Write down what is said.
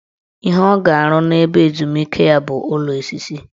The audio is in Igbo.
Ihe ọ ga-arụ n' ebe ezumike ya bụ ụlọ osisi